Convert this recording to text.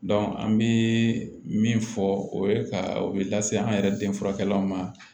an bɛ min fɔ o ye ka o bɛ lase an yɛrɛ den furakɛw ma